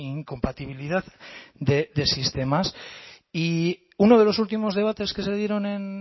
incompatibilidad de sistemas y uno de los últimos debates que se dieron en